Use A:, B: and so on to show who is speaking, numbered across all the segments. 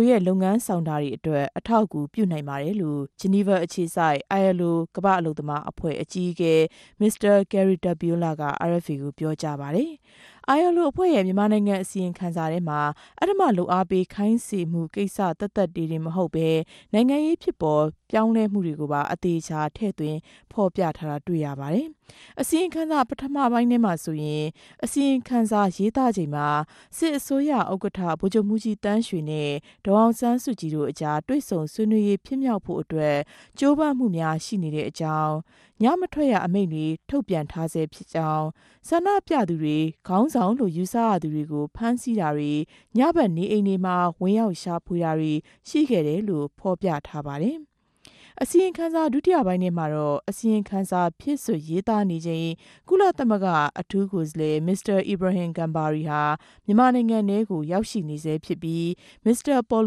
A: ိုရဲႚ လုပ်ငန်းဆောင်တာတေအြတြက် အထောက်အကူူပြိံိုင်ပၝတယ်လိုႚ ဂဵနီဗာအေူခစိုက် အိုင်အယ်လ်အို ကမ္တာ့အလုပ်သမားအဖြဲႚ အဋ္ဌကီးအကဲ Mr. Kari Tapiola က အာအက်ဖ်အေကို ေူပာုကားပၝတယ်။ အိုင်အယ်လ်အိုရဲႚ ူမန်မာိံိုင်ငံ အစီရင်ခံစာထဲမြာ အဓမ္ထလုပ်အားပေး ခိုင်းစေမကြိင်္စ သက်သက်ပဲ မဟုတ်ပဲ ိံိုင်ငံရေးူဖစ်ပေၞ ေူပာင်းလဲမြတေကြိုပၝ အသေအခဵာ ထည့်သြင်းဖော်ူပထားတာ တြေႚရပၝတယ်။ အစီရင်ခံစာ ပထမပိုင်းထဲမြာဆိုရင် စစ်အစိုးရ ဥက္ကဌ ဗိုလ်ခဵြပ်မြြးဋ္ဌကီးသန်းရေနြဲႚ ဒေၞအောင်ဆန်းစုုကည်တိုႚ အုကား တြေႚဆုံဆြေးေိံြးရေး ူဖစ်ေူမာက်ဖိုႚအတြက် ဋ္ဌကိြးပမ်းမမြဵားရြိနေတဲ့ အေုကာင်း၊ ညမထြက်ရ အမိန်ႚတြေ ထုတ်ထားဆဲူဖစ်ေုကာင်း၊ ဆ္ဋိံူပသူတြေ၊ ခေၝင်းဆောင်လိုႚ ယူဆရသူတေကြို ဖမ်းဆီးတာတြေ ညဖက်နေအိမ်တေမြြာ ဝင်ရောက် ရြာဖေတြာတေရြြိခဲ့တယ်လိုႚ ဖော်ူပထားပၝတယ်။ အစီရင်ခံစာ ဒုတိယပိုင်းထဲမြာတော့ အစီရင်ခံစာ ူဖည့်စြက်ရေးသားနေခဵိန်၊ ကုလသမဂ္ဂ အထူး ကိုယ်စားလြယ် အီဗရာဟင် ဂမ်ဘာရီဟာ ူမန်မာိံိုင်ငံထဲမြာ ရြိနေဆဲူဖစ်္ဘပီး မင်္စတာ ပေၞ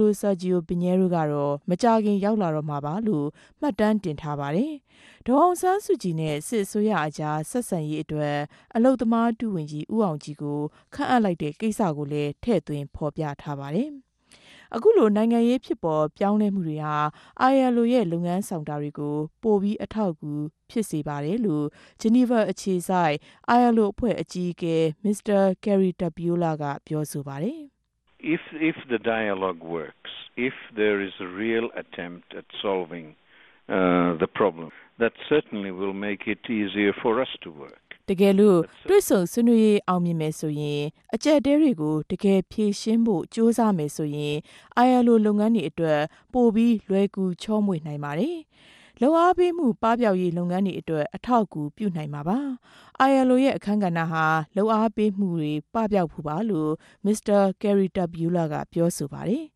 A: လို ဆာဂဵီယို ပင်နဲရိုးကတော့ မုကာခင် ရောက်လာတော့မြာလိုႛ မြတ်တမ်းတင် ထားပၝတယ်။ ဒေၞအောင်ဆန်းစုုကည်နဲႚ စစ်အစိုးရအုကား ဆက်ဆံရေးအတြက် အလုပ်သမား ဒု-ဝန်ဋ္ဌကီး ဦးအောင်ုကည်ကို ခန်ႚအပ်လိုက်တာကို လည်း ထည့်သြင်းဖော်ူပထားပၝတယ်။ ဒီလို ိံိုင်ငံရေး ူဖစ်ပေၞေူပာင်းလဲမြတေဟြာ အိုင်အယ်လ်အိုရဲႚ လုပ်ငန်းဆောင်တာတေကြို ပိုမိုအထောက်အကူ ူဖစ်စေပၝတယ်လိုႚ ဂဵနီဗာအေူခစိုက် အိုင်အယ်လ်အိုအဖြဲႚ အဋ္ဌကီးအကဲ Mr. Kari Tapiola က ေူပာပၝတယ်
B: ။ "တကယ်လိုႚ
A: တြေႚဆုံဆြေးေိံြးရေးအောင်ူမင်မယ်ဆိုရင်၊ အုကပ်အတည်းတေကြို တကယ်ေူဖရြင်းဖိုႚ ဋ္ဌကိြးစားမယ်ဆိုရင်၊ အိုင်အယ်လ်အို လုပ်ငန်းတေအြတြက် ပို္ဘပီးလြယ်ကူခေဵာမြေႚ ိံိုင်ပၝတယ်။ လုပ်အားပေးမြ ပပေဵာက်ရေး လုပ်ငန်းတေအြတြက် အထောက်အကူူပြ ိံိုင်မြာပၝ။ အိုင်အယ်လ်အိုရဲႚ အခန်းကဏ္ပဟာ လုပ်အားပေးမြတြေ ပပေဵာက်ဖိုႚပၝလိုႚ Mr. Tapiola ကေူပာပၝတယ်။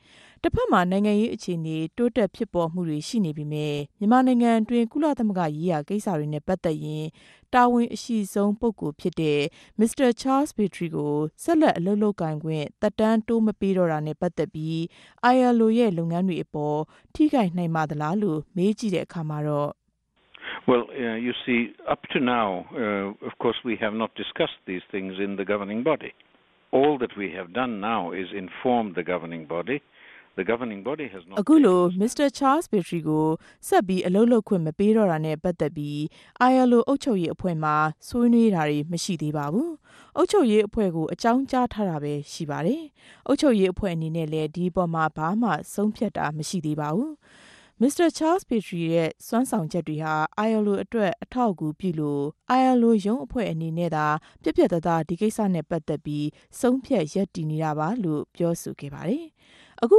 A: " တဖက်မြာ ိံိုင်ငံရေး အေူခအနေတိုးတက် ူဖစ်ပေၞမြတြေ ရြိနေပေမဲ့ ူမန်မာိံိုင်ငံအတြင်း ကုလသမဂ္ဂ ရေးရာကိင်္စတေနြဲႚ ပတ်သက်ရင် တာဝန်အရြိဆုံးူဖစ်တဲ့ Mr. Charles Petrie ကို ဆက်လက် အလုပ်လုပ်ကိုင်ခြင့် သက်တမ်းမတိုးပေးတော့တာနဲႚ ပတ်သက်္ဘပီး မေးုကည့်တဲ့ အခၝမြာတော့ အခုလိုေူပာပၝတယ်။
B: "အခု
A: လို Mr. Petrie ကို ဆက်အလုပ်လုပ်ခြင့် မပေးတော့တာနဲႚ ပတ်သက်္ဘပီး အိုင်အယ်လ်အို အုပ်ခဵြပ်ရေးအဖြဲႚမြာ ဆြေးေိံြးတာတြေ မရြိသေးပၝဘူး၊ အေုကာင်းုကားထားတာပဲ ရြိပၝတယ်။ အုပ်ခဵြပ်ရေးအဖြဲႚ အနေနဲႚလည်း ဒီအပေၞမြာ ဘာမဆြုံးူဖတ်တာမရြိသေးပၝဘူး။ သူရဲႚ စြမ်းဆောင်ခဵက်တေဟြာ အိုင်အယ်လ်အိုအတြက် အထောက်အကူူပလြိုႚ အိုင်အယ်လ်အို ရုံးအဖြဲႚ အနေနဲႚသာ ူပတ်ူပတ်သားသား ဒီကိင်္စနဲႚ ပတ်သက်ူပီး ဆုံးူဖတ်ရပ်တည်နေတာပၝ။" အခု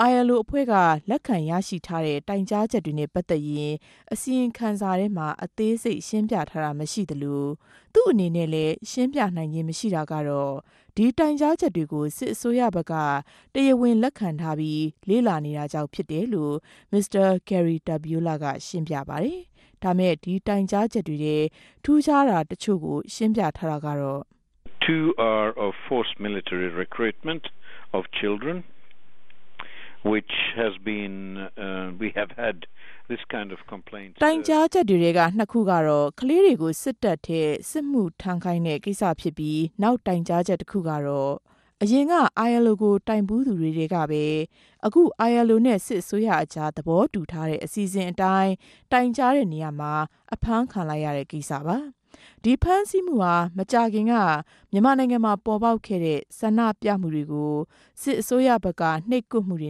A: အိုင်အယ်လ်အိုက လက်ခံရရြိထားတဲ့ တိုင်ုကားခဵက်တေနြဲႚ ပတ်သက်ရင် အစီရင်ခံစာထဲမြာ အသေးစိတ် ရြင်းူပထားတာ မရြိသလို သူႚအနေနဲႚလည်း ရြင်းူပိံိုင်ူခင်း မရြိတာကတော့ ဒီတိုင်ုကားခဵက်တေကြို စစ်အစိုးရဖက်က တရားဝင် လက်ခံထားတာေုကာင့် ူဖစ်တယ်လိုႚ ရြင်းူပပၝတယ်။ "ဒီတိုင်ုကားခဵက်ထဲ ထူးူခားတာ ိံြစ်ခုကတော့ ကလေးတေကြို စစ်တပ်ထဲ စစ်မထြမ်းခိုင်းတဲ့ ကိင်္စူဖစ်္ဘပီး၊ နောက်တိုင်ုကားခဵက် တခုကတော့ အရင်က တိုင်ဘူးသူတေကြပဲ အခု အိုင်အယ်လ်အိုနဲႚ စစ်အစိုးရအုကား သဘောတူထားတဲ့ အစီအစဉ်အတိုင်း တိုင်ုကားရာမြာ အဖမ်းခံလိုက်ရတဲ့ ကိင်္စပၝ။ ဒီဖမ်းဆီးမဟြာ မုကာခင်က ဆ္ဋိံူပမြတေကြို ိံြိပ်ကြပ်မြတေ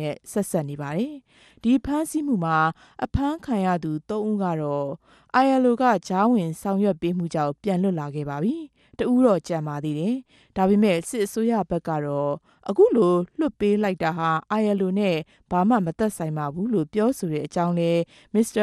A: နြဲႚ စပ်ဆက်နေပၝတယ်။ ဒီဖမ်းဆီးမမြြာ အဖမ်းခံရသူ သုံးဦးကတော့ အိုင်အယ်လ်အိုက ုကားဝင် ဆောင်ရြက်မြေုကာင့် ူပန်လြတ်လာခဲ့ပၝ္ဘပီ တဦးတော့ ကဵန်ပၝသေးတယ်။ ဒၝပေမဲ့ စစ်အစိုးရဘက်တော့ ဒီလိုလြတ်ပေးလိုက်တာဟာ အိုင်အယ်လ်အိုနဲႚ ဘာမြ မသက်ဆိုင်ပၝဘူးလိုႚ ေူပာဆိုတဲ့ အေုကာင်းလဲ Mr.